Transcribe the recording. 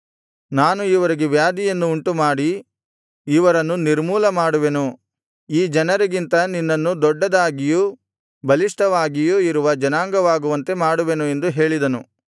ನಾನು ಇವರಿಗೆ ವ್ಯಾಧಿಯನ್ನು ಉಂಟುಮಾಡಿ ಇವರನ್ನು ನಿರ್ಮೂಲಮಾಡುವೆನು ಈ ಜನರಿಗಿಂತ ನಿನ್ನನ್ನು ದೊಡ್ಡದಾಗಿಯೂ ಬಲಿಷ್ಠವಾಗಿಯೂ ಇರುವ ಜನಾಂಗವಾಗುವಂತೆ ಮಾಡುವೆನು ಎಂದು ಹೇಳಿದನು